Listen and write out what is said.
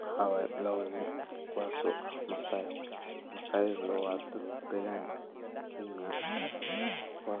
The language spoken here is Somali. Mxa waye labo nin kuwaso Masai ah ayaga waa dad dagan Kenya. Ila